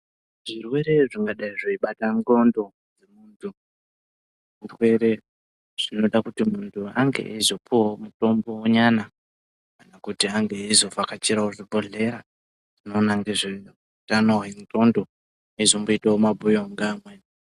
Zvirwere zvingadai zveibate nxlondo zvirwere zvinoda kuti munhu ange eizopuwawo mutombo nyana nekuti ange eizovhakachirawo zvibhehleya zvinoona ngezve utano hwenxlondo eizomoitawo mabhuyo ngeamweni.